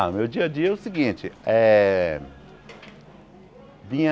Ah, meu dia a dia é o seguinte eh... Vinha...